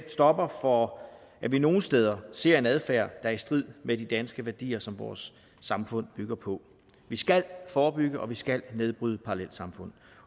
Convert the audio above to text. stopper for at vi nogle steder ser en adfærd er i strid med de danske værdier som vores samfund bygger på vi skal forebygge og vi skal nedbryde parallelsamfund